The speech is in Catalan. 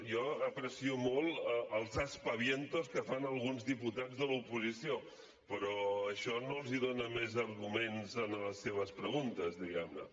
jo aprecio molt els aspavientos que fan alguns diputats de l’oposició però això no els dóna més arguments a les seves preguntes diguem ne